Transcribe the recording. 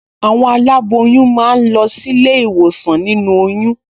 Àwọn aláboyún máa ń lọ sílé ìwòsàn nínú oyún